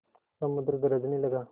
समुद्र गरजने लगा